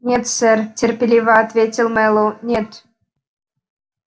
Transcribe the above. нет сэр терпеливо ответил мэллоу нет